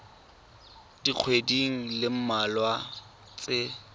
dikgweding di le mmalwa tse